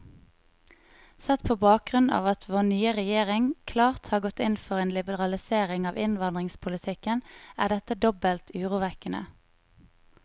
Sett på bakgrunn av at vår nye regjering klart har gått inn for en liberalisering av innvandringspolitikken, er dette dobbelt urovekkende.